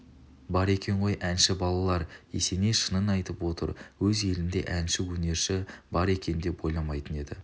бар екен ғой әнші балалар есеней шынын айтып отыр өз елінде әнші өнерші бар екен деп ойламайтын еді